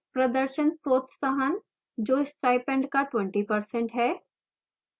प्रदर्शन प्रोत्साहन जो स्टाइपेंड का 20% है